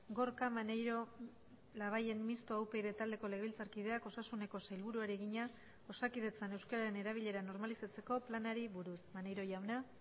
gorka maneiro labayen mistoa upyd taldeko legebiltzarkideak osasuneko sailburuari egina osakidetzan euskararen erabilera normalizatzeko planari buruz maneiro jauna